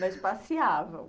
Mas passeavam?